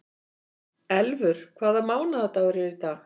Elfur, hvaða mánaðardagur er í dag?